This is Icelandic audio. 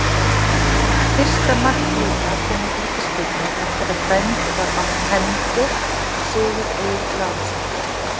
Fyrsta mark Blika kom úr vítaspyrnu eftir að dæmd var hendi á Sigurð Egil Lárusson.